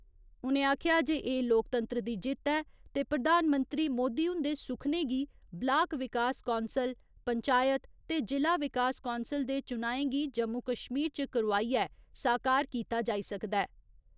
उ'नें आखेआ जे एह् लोकतंत्र दी जित्त ऐ ते प्रधानमंत्री नरेन्द्र मोदी हुन्दे सुखने गी ब्लाक विकास कौंसल, पंचायत ते जि'ला विकास कौंसल दे चुनाएं गी जम्मू कश्मीर च करोआइयै साकार कीता जाई सकदा ऐ।